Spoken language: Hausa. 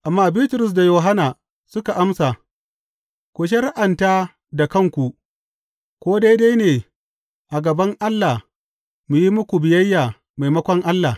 Amma Bitrus da Yohanna suka amsa, Ku shari’anta da kanku ko daidai ne a gaban Allah mu yi muku biyayya maimakon Allah.